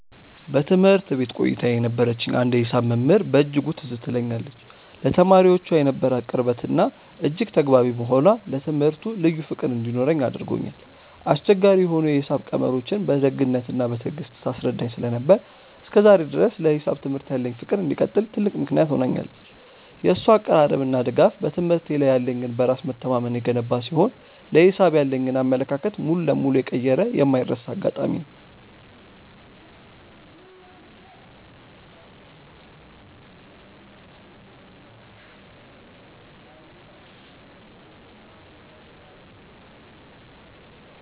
በትምህርት ቤት ቆይታዬ የነበረችኝ አንዲት የሂሳብ መምህር በእጅጉ ትዝ ትለኛለች፤ ለተማሪዎቿ የነበራት ቅርበትና እጅግ ተግባቢ መሆኗ ለትምህርቱ ልዩ ፍቅር እንዲኖረኝ አድርጎኛል። አስቸጋሪ የሆኑ የሂሳብ ቀመሮችን በደግነትና በትዕግስት ታስረዳኝ ስለነበር፣ እስከ ዛሬ ድረስ ለሂሳብ ትምህርት ያለኝ ፍቅር እንዲቀጥል ትልቅ ምክንያት ሆናኛለች። የእሷ አቀራረብና ድጋፍ በትምህርቴ ላይ ያለኝን በራስ መተማመን የገነባ ሲሆን፣ ለሂሳብ ያለኝን አመለካከት ሙሉ በሙሉ የቀየረ የማይረሳ አጋጣሚ ነው።